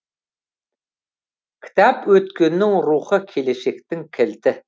кітап өткеннің рухы келешектің кілті